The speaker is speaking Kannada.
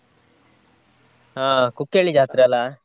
ಹಾ Kukkehalli ಜಾತ್ರೆ ಅಲ್ಲ.